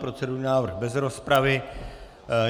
Procedurální návrh bez rozpravy.